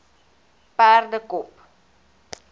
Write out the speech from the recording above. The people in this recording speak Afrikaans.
perdekop